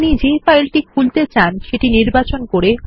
আপনি যে ফাইলটি খুলতে চান সেটি নির্বাচন করে